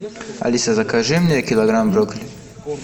алиса закажи мне килограмм брокколи